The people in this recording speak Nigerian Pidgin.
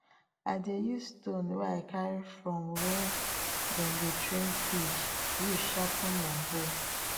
i dey use stone wey i carry from where dem dey train fish use sharpen my hoe